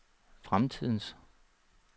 fremtidens